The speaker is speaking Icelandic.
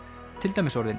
til dæmis orðin